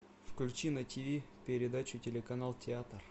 включи на тв передачу телеканал театр